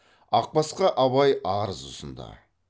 ақбасқа абай арыз ұсынды